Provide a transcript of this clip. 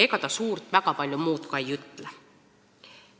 Ega seadus väga palju muud ei ütlegi.